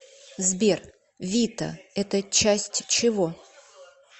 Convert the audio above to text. сбер вита это часть чего